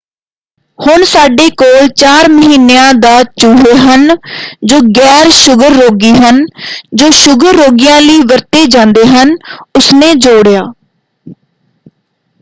ਹੁਣ ਸਾਡੇ ਕੋਲ 4 ਮਹੀਨਿਆਂ ਦਾ ਚੂਹੇ ਹਨ ਜੋ ਗੈਰ-ਸ਼ੁਗਰ ਰੋਗੀ ਹਨ ਜੋ ਸ਼ੁਗਰ ਰੋਗੀਆਂ ਲਈ ਵਰਤੇ ਜਾਂਦੇ ਹਨ” ਉਸਨੇ ਜੋੜਿਆ।